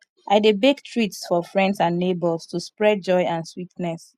i dey bake treats for friends and neighbors to spread joy and sweetness